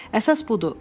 Əsas budur.